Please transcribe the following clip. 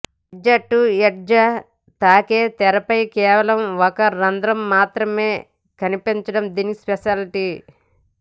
edge to edge తాకే తెరపై కేవలం ఒక రంద్రం మాత్రమే కనిపించడం దీని స్పెషాలిటీ